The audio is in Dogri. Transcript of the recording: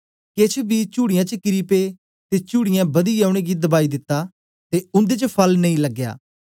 केछ बी चुड़ीयें च किरी पे ते चुड़ीयें बदियै उनेंगी दबाई दित्ता ते उन्दे च फल नेई लगया